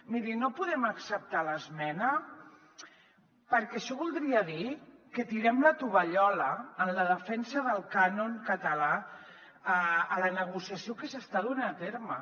miri no podem acceptar l’esmena perquè això voldria dir que tirem la tovallola en la defensa del cànon català a la negociació que s’està duent a terme